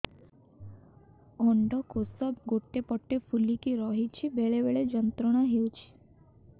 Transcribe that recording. ଅଣ୍ଡକୋଷ ଗୋଟେ ପଟ ଫୁଲିକି ରହଛି ବେଳେ ବେଳେ ଯନ୍ତ୍ରଣା ହେଉଛି